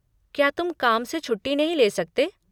क्या तुम काम से छुट्टी नहीं ले सकते?